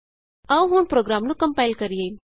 ਆਉ ਹੁਣ ਪ੍ਰੋਗਰਾਮ ਨੂੰ ਕੰਪਾਇਲ ਕਰੀਏ